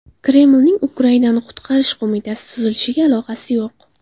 Kremlning Ukrainani qutqarish qo‘mitasi tuzilishiga aloqasi yo‘q.